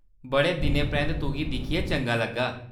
बड़ा दिनें परैंत्त तुगी दिक्खियै चंगा लग्गा।